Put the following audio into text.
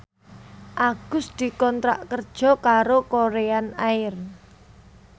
Agus dikontrak kerja karo Korean Air